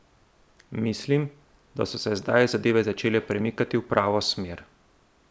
Mislim, da so se zdaj zadeve začele premikati v pravo smer.